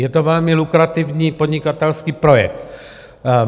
Je to velmi lukrativní podnikatelský projekt.